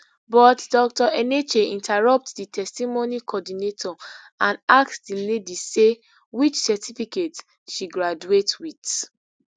but dr enenche interrupt di testimony coordinator and ask di lady say which certificate she graduate wit